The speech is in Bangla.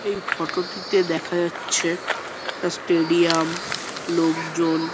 এই ফটো -টিতে দেখা যাচ্ছে একটা স্টেডিয়াম লোকজন --